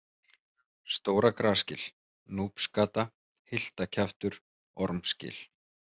Stóra-Grasgil, Núpsgata, Hyltakjaftur, Ormsgil